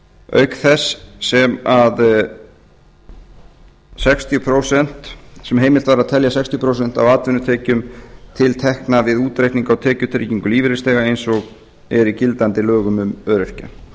auk þess sem heimilt var að telja sextíu prósent af atvinnutekjum til tekna við útreikning frá tekjutryggingu lífeyrisþega eins og er í gildandi lögum um öryrkja